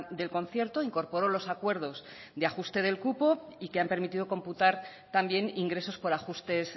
del concierto incorporó los acuerdos de ajuste del cupo y que han permitido computar también ingresos por ajustes